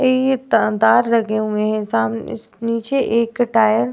अई त तार लगे हुए हैं। साम नीचे एक टायर --